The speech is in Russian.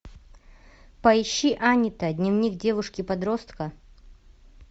поищи анита дневник девушки подростка